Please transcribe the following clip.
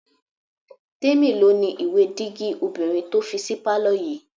Tèmi ló ni ìwé dígí obìnrin tó fi sí pálọ̀ yìí